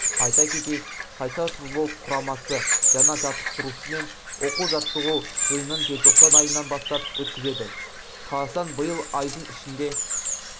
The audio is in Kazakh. айта кетейік қайсар футбол құрамасы жаңа жаттықтырушымен оқу-жаттығу жиынынжелтоқсан айынан бастап өткізеді қазақстан биыл айдың ішінде